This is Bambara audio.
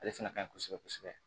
Ale fana ka ɲi kosɛbɛ kosɛbɛ